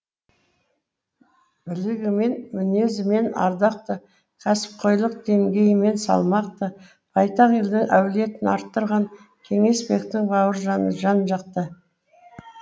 білігімен мінезімен ардақты кәсіпқойлық деңгейімен салмақты байтақ елдің әулетін арттырған кеңесбектің бауыржаны жан жақты